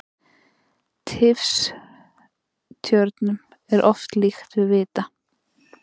Tifstjörnum er oft líkt við vita.